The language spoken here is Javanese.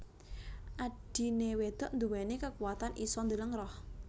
Adhine wedok nduweni kekuwatan isa ndeleng roh